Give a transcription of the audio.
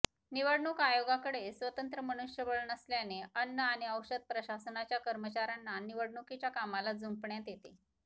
निवडणूक आयोगाकडे स्वतंत्र मनुष्यबळ नसल्याने अन्न आणि औषध प्रशासनाच्या कर्मचाऱ्यांना निवडणुकीच्या कामाला जुंपण्यात येते